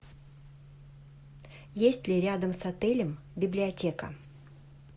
есть ли рядом с отелем библиотека